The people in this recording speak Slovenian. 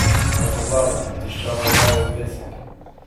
Kaj pa vlada, je tiščala glavo v pesek?